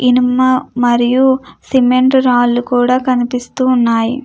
ఇనుమ మరియు సిమెంట్ రాళ్ళూ కూడా కనిపిస్తున్నాయి.